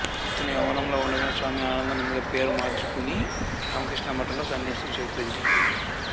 ఇతను యవ్వనంలో ఉండగానే స్వామి ఆనందానంద్ గా పేరు మార్చుకుని రామకృష్ణ మఠం లో సన్యాసం స్వీకరించాడు